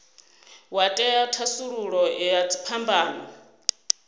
wa ṅea thasululo ya dziphambano